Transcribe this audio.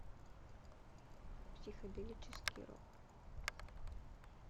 психоделический рок